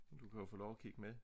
Du kan jo få lov at kigge med